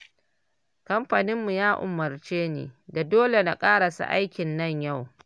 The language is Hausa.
Kamfaninmu ya umarce ni da dole na ƙarasa aikin nan yau